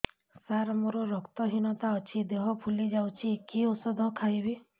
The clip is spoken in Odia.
ସାର ମୋର ରକ୍ତ ହିନତା ଅଛି ଦେହ ଫୁଲି ଯାଉଛି କି ଓଷଦ ଖାଇବି